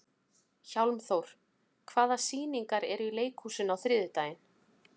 Hjálmþór, hvaða sýningar eru í leikhúsinu á þriðjudaginn?